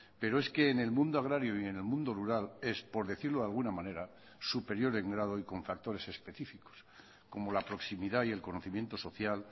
pero es que en el mundo agrario y en el mundo rural es por decirlo de alguna manera superior en grado y con factores específicos como la proximidad y el conocimiento social